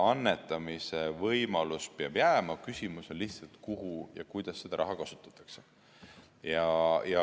Annetamise võimalus peab jääma, küsimus on, kuhu ja kuidas seda raha kasutatakse.